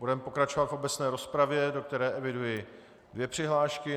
Budeme pokračovat v obecné rozpravě, do které eviduji dvě přihlášky.